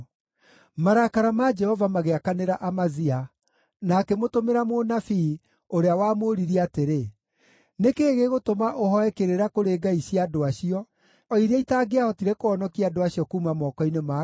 Marakara ma Jehova magĩakanĩra Amazia, na akĩmũtũmĩra mũnabii, ũrĩa wamũũririe atĩrĩ, “Nĩ kĩĩ gĩgũtũma ũhooe kĩrĩra kũrĩ ngai cia andũ acio, o iria itaangĩahotire kũhonokia andũ acio kuuma moko-inĩ maku?”